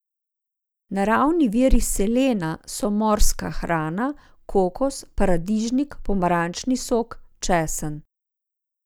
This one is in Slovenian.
Naravni viri selena so morska hrana, kokos, paradižnik, pomarančni sok, česen.